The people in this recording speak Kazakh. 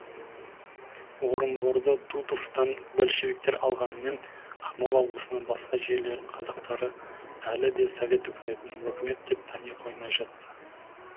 орынборды дутовтан большевиктер алғанымен ақмола облысынан басқа жерлердің қазақтары әлі де совет үкіметін өкімет деп тани қоймай жатты